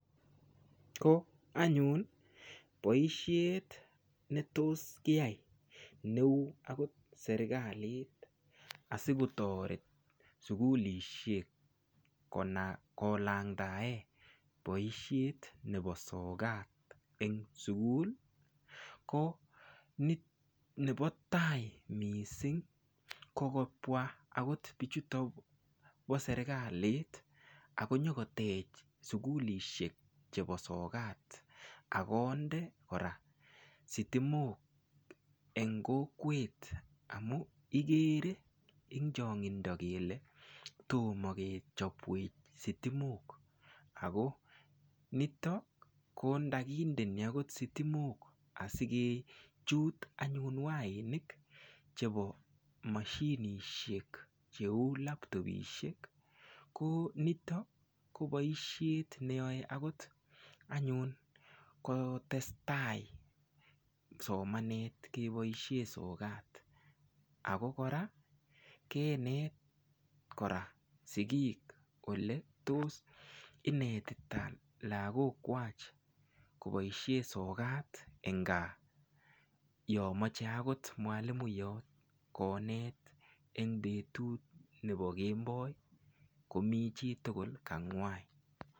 Ko anyun boishet ne tos kiyai neu akot serikalit asiketoret sukulishek kolangtae boishet nebo sokat eng sukul ko nebo tai mising ko kobwa akot biichuto bo serikalit akonyokotech sukulishek chebo sokat akonde kora sitimok eng kokwet amu ikere ing chong'indo kele tomo kechopwech sitimok ako nitok ko ndakindeni akot sitimok asikechut anyun wainik chebo mashinishek cheu laptopishek ko nitok ko boishet neyoei akot anyun kotestai somanet keboishe sokat ako kora kenet kora sikiik ole tos inetita lakok kwach koboishe sokat eng gaa yo mochei akot mwalimuyot konet eng betut nebo kemboi komi chitugul kangwai.